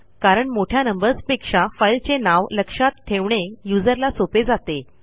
कारण मोठ्या नंबर्सपेक्षा फाईलचे नाव लक्षात ठेवणे userला सोपे जाते